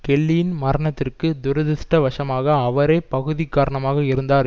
கெல்லியின் மரணத்திற்கு துரதிருஷ்ட வசமாக அவரே பகுதி காரணமாக இருந்தார்